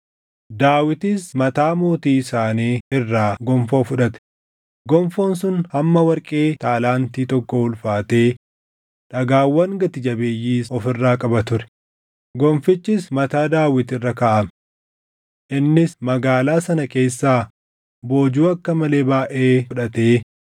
Daawitis mataa mootii isaanii irraa gonfoo fudhate; gonfoon sun hamma warqee taalaantii tokkoo ulfaatee dhagaawwan gati jabeeyyiis of irraa qaba ture; gonfichis mataa Daawit irra kaaʼame. Innis magaalaa sana keessaa boojuu akka malee baayʼee fudhatee